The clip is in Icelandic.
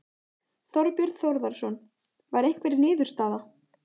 Þorbjörn Þórðarson: Var einhver niðurstaða?